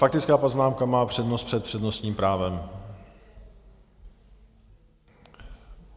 Faktická poznámka má přednost před přednostním právem.